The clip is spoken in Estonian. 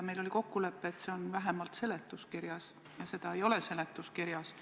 Meil oli kokkulepe, et see on vähemalt seletuskirjas, ja seda ei ole seletuskirjas.